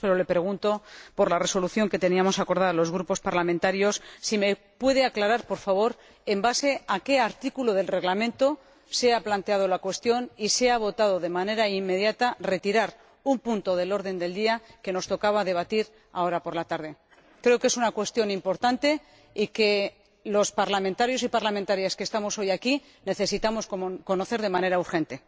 Pero le pregunto por la resolución que teníamos acordada los grupos parlamentarios ¿me puede aclarar, por favor, sobre la base de qué artículo del Reglamento se ha planteado la cuestión y se ha votado, de manera inmediata, la retirada de un punto del orden del día que nos tocaba debatir, ahora, por la tarde? Creo que es una cuestión importante y que los parlamentarios y parlamentarias que estamos hoy aquí necesitamos conocer de manera urgente.